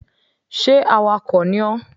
Sé awakọ̀ ni ọ?